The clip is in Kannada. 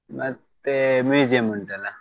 ಮತ್ತೆ museum ಉಂಟಲ್ಲಾ?